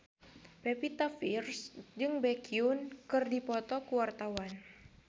Pevita Pearce jeung Baekhyun keur dipoto ku wartawan